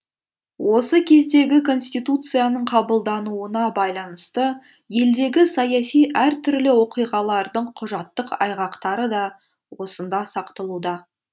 осы кездегі конституцияның қабылдануына байланысты елдегі саяси әртүрлі оқиғалардың құжаттық айғақтары да осында сақталуда